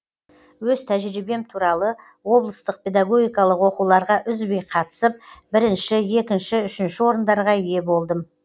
өз тәжірибем туралы облыстық педагогикалық оқуларға үзбей қатысып бірінші екінші үшінші орындарға ие болдым